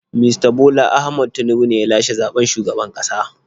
Mista Bola Ahmad Tinubu ne ya lashe zaɓen shugaban ƙasa.